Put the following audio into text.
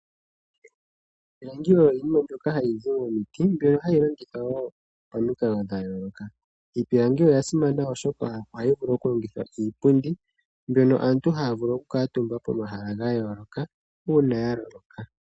Iipilangi oyo iinima mbyoka hayi zi momiti mbyono hayi longithwa woo pamikalo dhayooloka. Iipilangi oya simana oshoka ohayi vulu okulongithwa iipundi mbyono aantu haavulu oku kaatumba pomahala gayooloka uuna yaloloka.